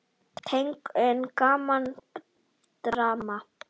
Tegund: Gaman, Drama